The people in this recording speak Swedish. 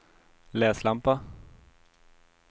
läslampa